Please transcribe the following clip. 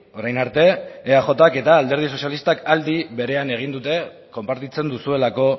orain arte eajk eta alderdi sozialistak aldi berean egin dute konpartitzen duzuelako